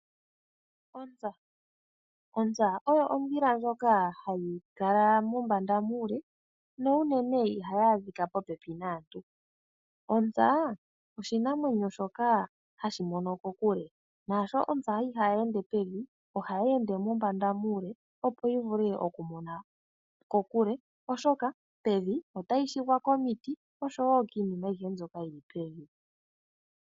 Ontsa. Ontsa oyo ondhila ndjoka hayi tuka mombanda muule, na olwindji ihayi adhika popepi naantu. Ontsa, oshinamwenyo shoka hashi mono kokule. Naashoka ontsa ihayi ende pevi, ohayi tuka mombanda muule, opo yivule okumona kokule oshoka, pevi otayi shugwa komiti noshowo kiinima yilwe mbyoka yili pevi.